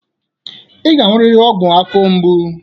Ị ga-aṅụrịrị ọgwụ afọ mgbu.